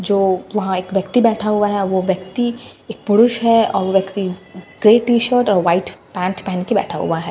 जो वहां एक व्यक्ति बैठा हुआ है वह व्यक्ति एक पुरुष है और वो व्यक्ति ग्रे टीशर्ट और वाइट पेंट पहन के बैठा हुआ है ।